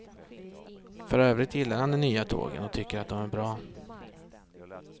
För övrigt gillar han de nya tågen och tycker att de är bra.